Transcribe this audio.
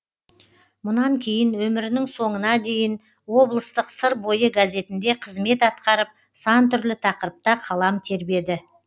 мұнан кейін өмірінің соңына дейін облыстық сыр бойы газетінде қызмет атқарып сан түрлі тақырыпта қалам тербеді